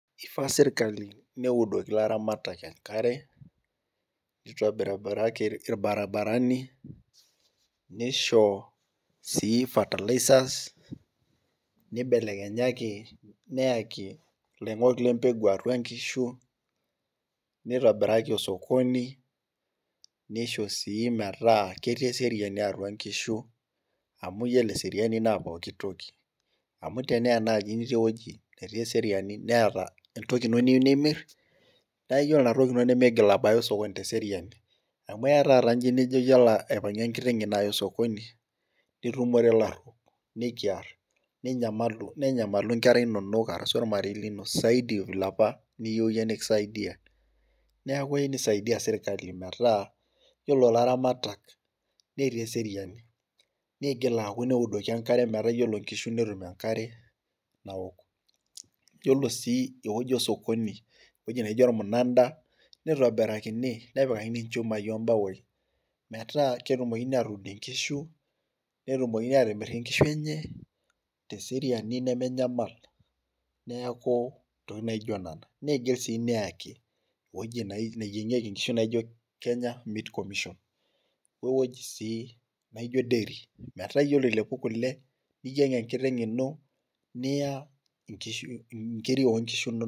Keifaa serkali neudoki ilaramatak enkare, neitobiraki irbaribarani, neishoo sii fertilizers, neibelekenyaki, neyaki, iloing'ok lempeku aatua inkishu, neitobiraki osokoni, neishoo sii metaa ketii eseriani atua inkishu, amuu iyiolo eseriani naa pooki toki. Amuu tenelo naaji peyie mitii ewueji netii eseriani neeta entoki iino niyieu nimir, naa iyiolo iina toki iino nemiigil abaya osokoni teseriani amuu eya taata iyie lijo aalo aipang'ie enkiteng iino areu osokoni nitumore ilaruok nekiar. Ninyamalu nenyamalu inkera inonok arashu ormarei liino zaidi[xs] ee vile aapa niyieu iyie nekisaidiae. Niaku keyie neisaidia serkali metaa iyiolo ilarmatak netii eseriani. Niigil aaku neudoki enkare metaa oore inkishu netum enkare naok. Iyiolo sii ewueji osokoni, ewueji naijo ormunan'da, neitobirakini nepikakini imbaoi olchumai metaa netumokini atimir inkishu netumokini atuud inkishu eenye, teseriani nemenyamal. Niaku intokitin naijo nena. Keyieu sii neyaki iwuejitin neyieng'ieki inkishu naijo Kenya Meat Commission. wewueji sii naijo deri metaa oore ilapu kuule, niyieng enkiteng iino niya inkiiri oo nkishu inonok.